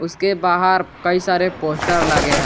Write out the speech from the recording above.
उसके बाहर कई सारे पोस्टर लगे हैं।